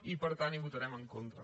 i per tant hi votarem en contra